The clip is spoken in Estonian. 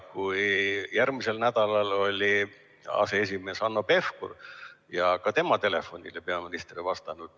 Kui järgmisel nädalal oli aseesimees Hanno Pevkur, siis ka tema telefonile peaminister ei vastanud.